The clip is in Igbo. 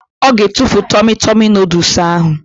Ọ ga-etufu tọmi tọmi nọdụs ahụ